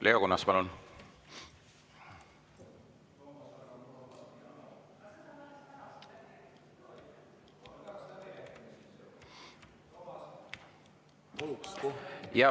Leo Kunnas, palun!